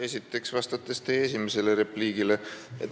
Esiteks vastan teie esimesele repliigile.